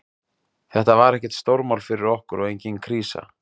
Þetta var ekkert stórmál fyrir okkur og engin krísa.